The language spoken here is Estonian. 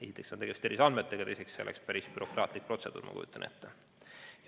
Esiteks on tegemist terviseandmetega ja teiseks oleks see päris bürokraatlik protseduur, ma kujutan ette.